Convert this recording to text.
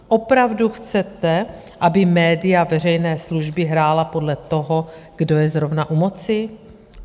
Opravdu chcete, aby média veřejné služby hrála podle toho, kdo je zrovna u moci?